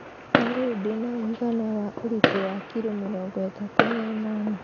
Kwa rĩu ndĩna ũigana Wa ũritũ wa kiro mĩrongo ĩtatũ na ĩnana